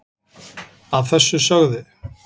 að þessu sögðu